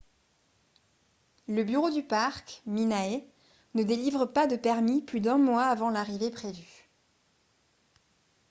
le bureau du parc minae ne délivre pas de permis plus d’un mois avant l’arrivée prévue